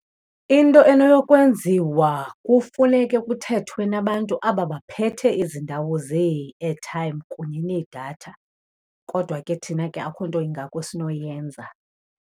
Into enoyokwenziwa kufuneke kuthethwe nabantu aba baphethe ezi ndawo zee-airtime kunye needatha, kodwa ke thina ke akukho nto ingako esinoyenza.